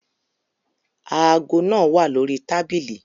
Aago naa wa lori tabili